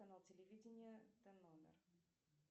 канал телевидения и номер